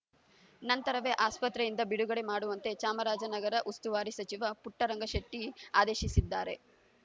ನಂತರವೇ ಆಸ್ಪತ್ರೆಯಿಂದ ಬಿಡುಗಡೆ ಮಾಡುವಂತೆ ಚಾಮರಾಜನಗರ ಉಸ್ತುವಾರಿ ಸಚಿವ ಪುಟ್ಟರಂಗಶೆಟ್ಟಿಆದೇಶಿಸಿದ್ದಾರೆ